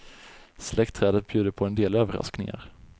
Släktträdet bjuder på en del överraskningar.